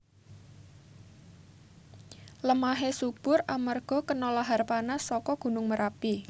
Lemahé subur amarga kena lahar panas saka gunung Merapi